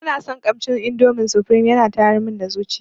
Bana son kamshin indomi sufrim yana tayar mun da zuciya.